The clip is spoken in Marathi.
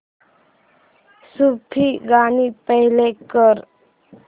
सूफी गाणी प्ले कर